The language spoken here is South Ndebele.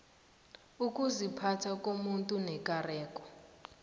ukuziphatha komuntu nekareko